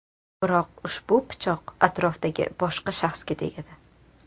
Biroq ushbu pichoq atrofdagi boshqa shaxsga tegadi.